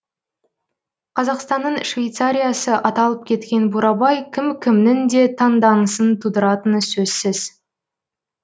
қазақстанның швейцариясы аталып кеткен бурабай кім кімнің де таңданысын тудыратыны сөзсіз